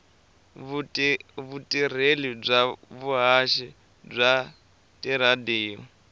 vutirheli bya vuhaxi bya tiradiyo